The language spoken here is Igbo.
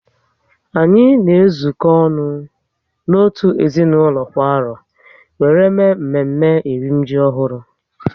Anyị na ezuko ọnụ ka otu ezinaụlọ kwa arọ wéré mee mme mme eri m ji ọhụrụ